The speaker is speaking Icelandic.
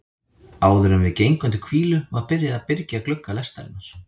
Áðuren við gengum til hvílu var byrjað að byrgja glugga lestarinnar.